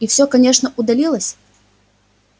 и всё конечно уладилось